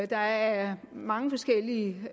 der er mange forskellige